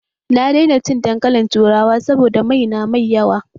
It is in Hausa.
Na daina cin dankalin turawa saboda mai na mai yawa